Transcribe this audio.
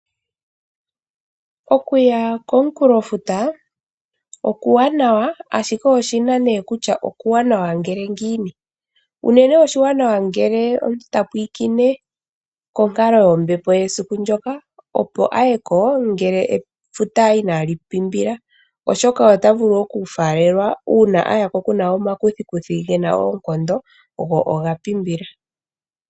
Okuya komukulo futa okuwanawa, ashike oshina nee kutya okuwanawa ngele ngiini? unene oshiwanawa ngele omuntu tapwilikine konkalo yombepo yesiku ndoka, opo a yeko ngele efuta inaali pimbila, oshoka ota vulu okufaalelwa uuna a yako kuna omakuthikuthi gena oonkondo go oga pimbila.